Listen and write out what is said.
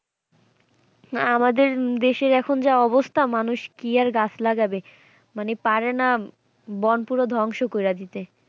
হ্যাঁ আমাদের দেশের এখন যা অবস্থা মানুষ কি আর গাছ লাগাবে মানে পারেনা বন পুরো ধ্বংস কইরে দিতে।